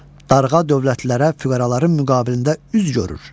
Darğa dövlətlilərə füqəraların müqabilində üz görür.